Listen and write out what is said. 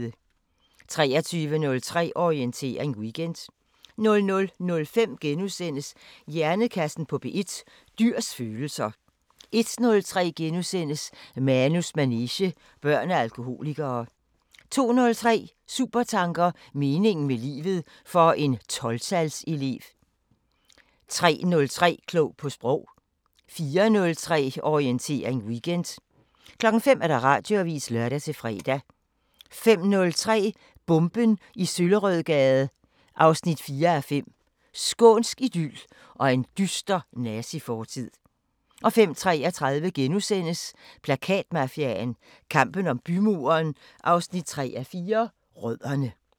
23:03: Orientering Weekend 00:05: Hjernekassen på P1: Dyrs følelser * 01:03: Manus manege: Børn af alkoholikere * 02:03: Supertanker: Meningen med livet – for en 12-tals elev 03:03: Klog på Sprog 04:03: Orientering Weekend 05:00: Radioavisen (lør-fre) 05:03: Bomben i Søllerødgade 4:5 – Skånsk idyl og en dyster nazifortid 05:33: Plakatmafiaen – kampen om bymuren 3:4 – Rødderne *